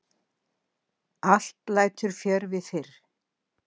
Allt lætur fjörvi fyrr.